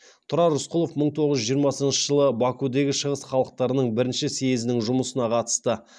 тұрар рысқұлов мың тоғыз жүз жиырмасыншы жылы бакудегі шығыс халықтарының бірінші съезінің жұмысына қатысты